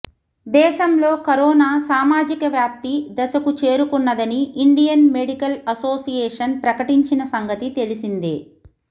దేశంలో కరోనా సామాజిక వ్యాప్తి దశకు చేరుకున్నదని ఇండియన్ మెడికల్ అసోసియేషన్ ప్రకటించిన సంగతి తెలిసిందే